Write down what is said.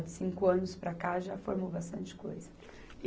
De cinco anos para cá já formou bastante coisa.